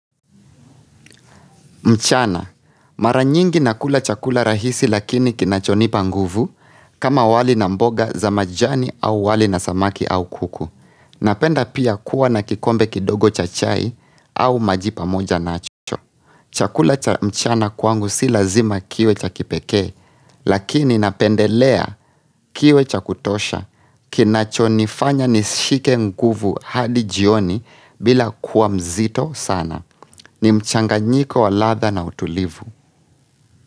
Mchana, maranyingi nakula chakula rahisi lakini kinachonipa nguvu, kama wali na mboga za majani au wali na samaki au kuku. Napenda pia kuwa na kikombe kidogo cha chai au maji pa moja nacho. Chakula cha mchana kwangu si lazima kiwe cha kipekee, lakini napendelea kiwe cha kutosha. Kinachonifanya nishike nguvu hadi jioni bila kuwa mzito sana. Ni mchanga nyiko waladha na utulivu.